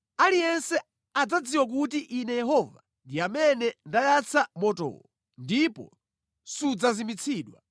Aliyense adzadziwa kuti Ine Yehova ndi amene ndayatsa motowo, ndipo sudzazimitsidwa.’ ”